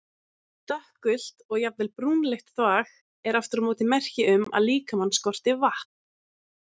Dökkgult og jafnvel brúnleitt þvag er aftur á móti merki um að líkamann skorti vatn.